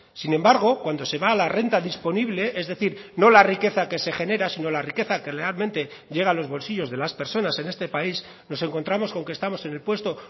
sin embargo cuando se va a la renta disponible es decir no la riqueza que se genera sino la riqueza que realmente llega a los bolsillos de las personas en este país nos encontramos con que estamos en el puesto